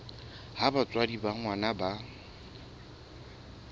ha batswadi ba ngwana ba